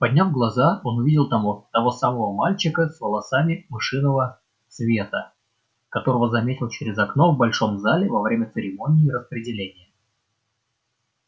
подняв глаза он увидел того того самого мальчика с волосами мышиного света которого заметил через окно в большом зале во время церемонии распределения